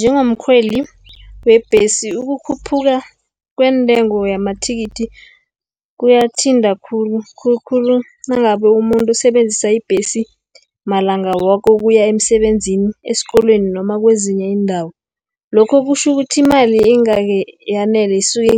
Njengomkhweli webhesi ukukhuphuka kweentengo yamathikithi kuyathinta khulu, khulukhulu nangabe umuntu usebenzisa ibhesi malanga woke ukuya emsebenzini, esikolweni, noma kwezinye iindawo. Lokho kutjhukuthi imali isuke